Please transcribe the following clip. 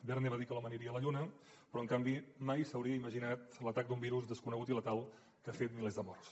verne va dir que l’home aniria a la lluna però en canvi mai s’hauria imaginat l’atac d’un virus desconegut i letal que ha fet milers de morts